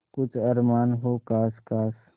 कुछ अरमान हो जो ख़ास ख़ास